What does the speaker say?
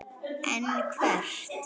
En hvert?